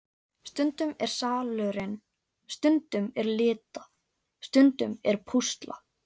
Stundum er salurinn, stundum er lita, stundum er púsla.